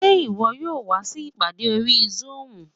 Ṣé ìwọ yóò wá sí ìpàdé orí zoom?